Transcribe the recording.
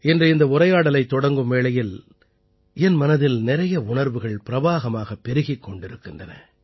இன்று இந்த உரையாடலைத் தொடங்கும் வேளையில் என் மனதில் நிறைய உணர்வுகள் பிரவாகமாகப் பெருகிக் கொண்டிருக்கின்றன